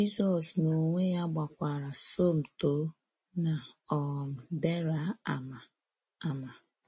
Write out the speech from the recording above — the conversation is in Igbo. Jizọs n'onwe ya gbakwara Somtoo na um Dera ámá. ámá.